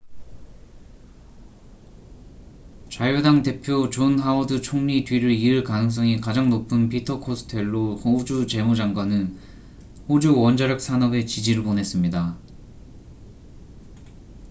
자유당 대표 존 하워드 총리 뒤를 이을 가능성이 가장 높은 피터 코스텔로 호주 재무 장관은 호주 원자력 산업에 지지를 보냈습니다